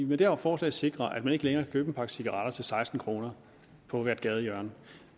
med det her forslag sikrer at man ikke længere kan købe en pakke cigaretter til seksten kroner på hvert gadehjørne